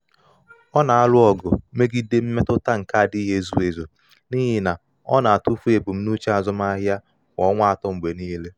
ọ ọ na-alụ ọgụ megide mmetụta nke adịghị ezu ezu n’ihi na ọ na-atụfu ebumnuche azụmahịa kwa ọnwa atọ mgbe niile.